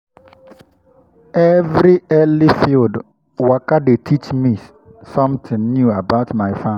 every early field waka dey teach me something new about my farm.